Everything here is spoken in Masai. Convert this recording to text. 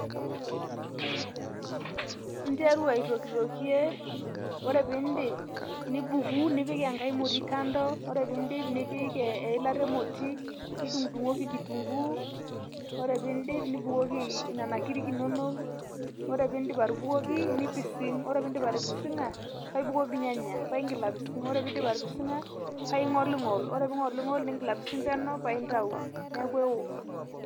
Interu aitokitoki ore pee iindip nibuku nipik enkae moti kando ore peeindip nipik eilata emoti nidungudungoki kitunkuu ore peeindip nibukoki nena kirik inonok ore peindip atubukomi nipising ore peindim atipisinga paaibukoki irnyanya nipising ore peindip atipising'a ning'oling'ol ore peeindip alng'oling'ola ningil apising penyo paaidayu amu ewoo